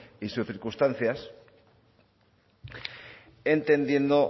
y sus circunstancias entendiendo